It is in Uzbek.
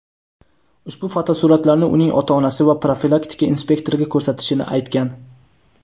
ushbu fotosuratlarni uning ota-onasi va profilaktika inspektoriga ko‘rsatishini aytgan.